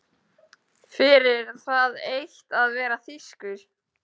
Fyrir það eitt að vera þýskur.